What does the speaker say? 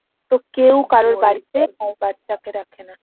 তো কেউ কারোর বাড়ি তে বাছা কে রাখে না।